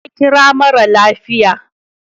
Ta kira mara lafiya.